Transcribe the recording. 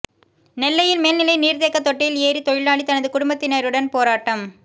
நெல்லையில் மேல்நிலை நீர்த்தேக்கத் தொட்டியில் ஏறி தொழிலாளி தனது குடும்பத்தினருடன் போராட்டம்